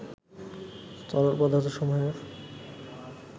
তরল পদার্থসমূহের